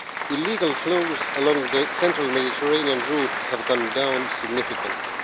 Illegal flows along the central Mediterranean route have gone down significantly.